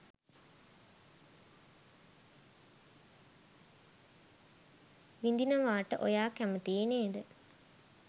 විඳිනවාට ඔයා කැමතියි නේද?